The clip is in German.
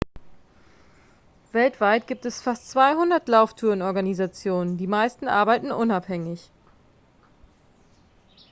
weltweit gibt es fast 200 lauftouren-organisationen die meisten arbeiten unabhängig